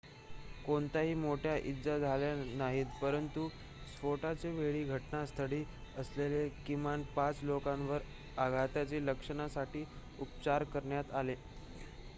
कोणत्याही मोठ्या इजा झाल्या नाहीत परंतु स्फोटाच्या वेळी घटनास्थळी असलेल्या किमान 5 लोकांवर आघाताच्या लक्षणांसाठी उपचार करण्यात आले